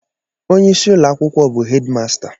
Onye isi ụlọ akwụkwọ bụ hedimasta.